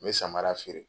N bɛ samara feere